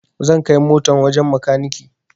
Zan kai motan wajen makaniki